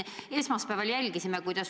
Me siin esmaspäeval jälgisime seda.